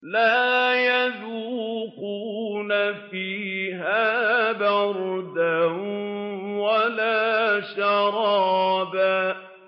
لَّا يَذُوقُونَ فِيهَا بَرْدًا وَلَا شَرَابًا